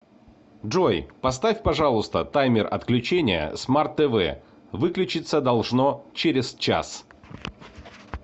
джой поставь пожалуйста таймер отключения смарт тв выключиться должно через час